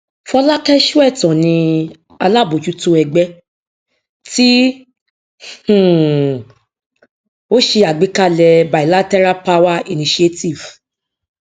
fọlákẹ sóẹtàn ni alábójútó ẹgbẹ tí um ó ṣe àgbékalẹ bilateral power initiative